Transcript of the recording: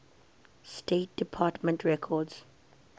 state department records